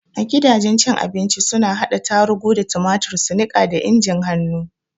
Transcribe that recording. A gidajen cin abinci suna hada tarugu da tumatur su niƙa da injin hannu.